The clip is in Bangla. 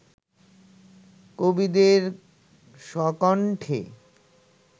কবিদের স্বকণ্ঠে